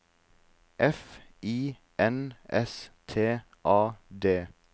F I N S T A D